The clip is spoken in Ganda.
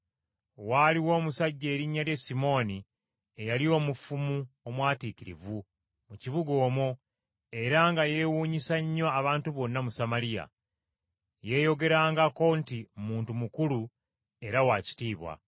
Waaliwo omusajja erinnya lye Simooni eyali omufumu omwatiikirivu mu kibuga omwo era nga yeewuunyisa nnyo abantu bonna mu Samaliya. Yeeyogerangako nti muntu mukulu era wa kitiibwa.